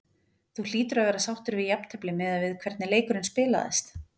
Þú hlýtur að vera sáttur við jafntefli miðað við hvernig leikurinn spilaðist?